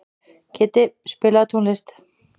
Kiddi, spilaðu tónlist.